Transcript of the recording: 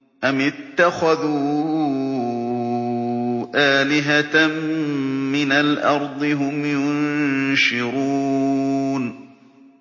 أَمِ اتَّخَذُوا آلِهَةً مِّنَ الْأَرْضِ هُمْ يُنشِرُونَ